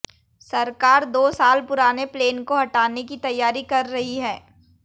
सरकार दो साल पुराने प्लेन को हटाने की तैयारी कर रही है